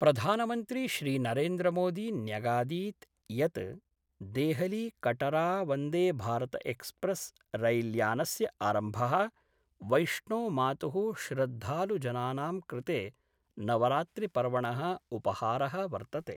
प्रधानमन्त्री श्रीनरेन्द्रमोदी न्यगादीत् यत् देहलीकटरावंदेभारतएक्सप्रेस् रैल्यानस्य आरम्भ: वैष्णोमातुः श्रद्धालुजनानां कृते नवरात्रिपर्वण: उपहार: वर्तते।